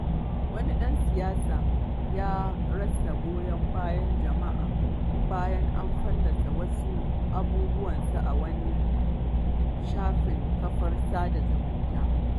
Wani ɗan siyasa ya rasa goyon bayan jama'a bayan an fallasa wasu abubuwansa a wani shafin kafar sada zumunta.